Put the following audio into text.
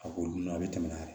A k'olu dun a bɛ tɛmɛ n'a ye